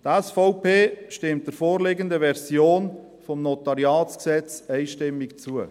Die SVP stimmt der vorliegenden Version des NG einstimmig zu.